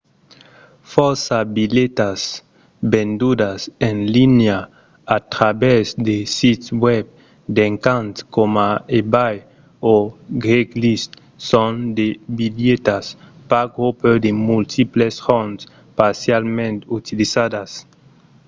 fòrça bilhetas vendudas en linha a travèrs de sits web d'encants coma ebay o craigslist son de bilhetas park-hopper de multiples jorns parcialament utilizadas